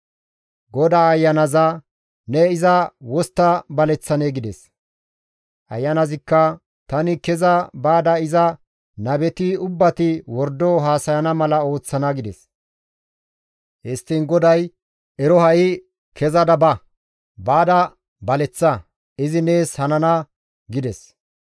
«GODAY ayanaza, ‹Ne iza wostta baleththanee?› gides. «Ayanazikka, ‹Tani keza baada iza nabeti ubbati wordo haasayana mala ooththana› gides. «Histtiin GODAY, ‹Ero ha7i kezada ba! Baada baleththa; izi nees hanana› » gides.